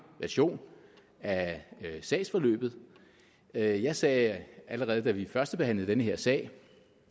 version af sagsforløbet jeg jeg sagde allerede da vi førstebehandlede den her sag